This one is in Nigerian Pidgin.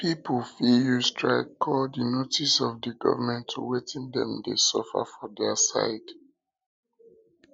pipo fit use strike call di notice of di government to wetin dem de suffer for their side